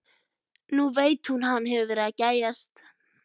Nú veit hún að hann hefur verið að gægjast.